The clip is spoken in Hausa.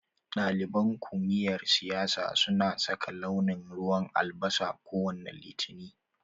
Ɗaliban kumiyar siyasa suna saka launin ruwan albasa kowane Litini.